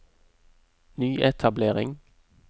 nyetablering